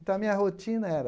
Então, a minha rotina era...